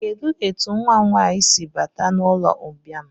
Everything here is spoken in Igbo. Kedụ etu nwa m nwaanyị si bata n'ụlọmbịa a?